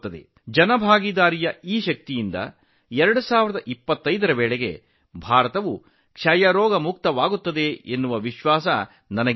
ಸಾರ್ವಜನಿಕ ಸಹಭಾಗಿತ್ವದ ಈ ಶಕ್ತಿಯಿಂದ ಭಾರತವು 2025 ರ ವೇಳೆಗೆ ಖಂಡಿತವಾಗಿಯೂ ಕ್ಷಯ ರೋಗದಿಂದ ಮುಕ್ತವಾಗಲಿದೆ ಎಂದು ನನಗೆ ನಂಬಿಕೆಯಿದೆ